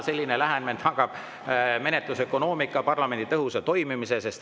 Selline lähenemine tagab menetlusökonoomia ja parlamendi tõhusa toimimise.